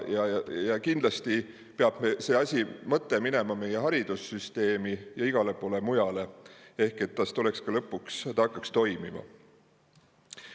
Kindlasti peab see mõte minema meie haridussüsteemi ja igale poole mujale, et ta lõpuks hakkaks toimima.